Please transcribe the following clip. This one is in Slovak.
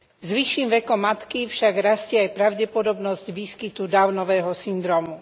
S vyšším vekom matky však rastie aj pravdepodobnosť výskytu Downovho syndrómu.